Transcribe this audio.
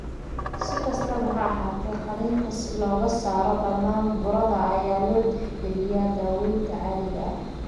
Si kastaba ha ahaatee, qaliinka si looga saaro dhammaan burada ayaa loo tixgeliyaa daaweynta caadiga ah.